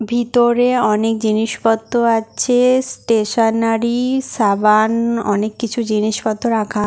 ভিতরে অনেক জিনিসপত্র আছে-এ স্টেশনেরই সাবান অনেক কিছু জিনিসপত্র রাখা।